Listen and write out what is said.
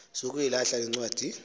sukuyilahla le ncwadi